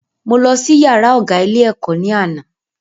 Mo lọ sí yàrá ọ̀gá ilé ẹ̀kọ́ ní àná